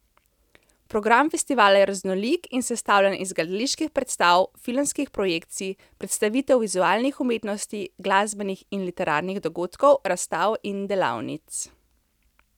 Program festivala je raznolik in sestavljen iz gledaliških predstav, filmskih projekcij, predstavitev vizualnih umetnosti, glasbenih in literarnih dogodkov, razstav in delavnic.